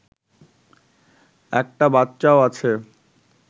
একটা বাচ্চাও আছে